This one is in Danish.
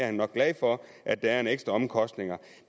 er nok glad for at der er en ekstra omkostning